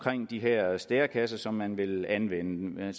de her stærekasser som man vil anvende det er